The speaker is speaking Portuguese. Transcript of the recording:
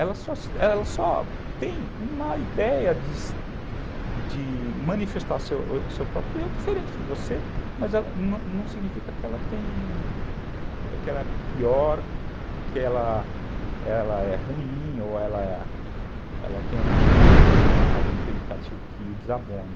Ela só ela só tem uma ideia de manifestar seu próprio eu diferente de você, mas não não significa que ela é pior, que ela é ruim ou ela é, ela é ruim, tem algum predicativo que desabone.